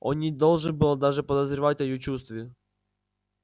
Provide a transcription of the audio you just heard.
он не должен был даже подозревать о её чувстве